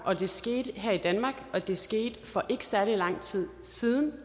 og det skete her i danmark og det skete for ikke særlig lang tid siden